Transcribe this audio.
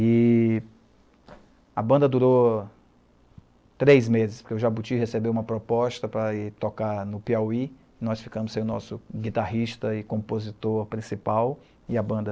E a banda durou três meses, porque o Jabuti recebeu uma proposta para ir tocar no Piauí, nós ficamos sem o nosso guitarrista e compositor principal, e a banda